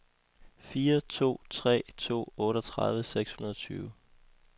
fire to tre to otteogtredive seks hundrede og tyve